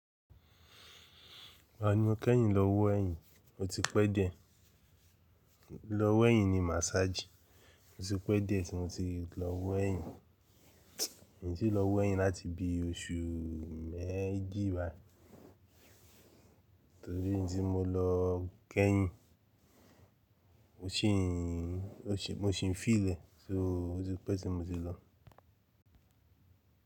Rárá ni mo kẹ́yìn lọ wọ ẹ́yìn, mo ti pẹ́ dé, lọ wẹ́yìn ni massage. Mo ti pẹ́ dé tí mo ti lọ wọ ẹ́yìn. Kìí ṣe lọ wọ ẹ́yìn láti bí oṣù mẹ́jì wá. Torí tí mo lọ kẹ́yìn, mo sì ń, mo sì ń feel ẹ̀, só ó ti pẹ́ tí mo ti lọ.